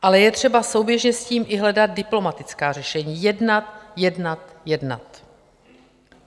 Ale je třeba souběžně s tím i hledat diplomatická řešení - jednat, jednat, jednat.